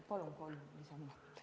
Palun kolm lisaminutit!